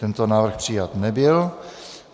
Tento návrh přijat nebyl.